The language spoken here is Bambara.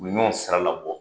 U bɛ ɲɔgɔn saralabɔ